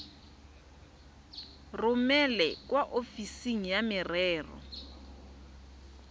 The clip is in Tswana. romele kwa ofising ya merero